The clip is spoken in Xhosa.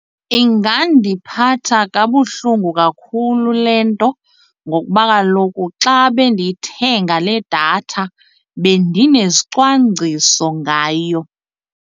Ingandiphatha kabuhlungu kakhulu le nto ngokuba kaloku xa bendiyithenga le datha bendinezicwangciso ngayo.